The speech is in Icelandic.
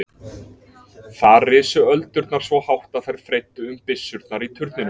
Þar risu öldurnar svo hátt að þær freyddu um byssurnar í turninum.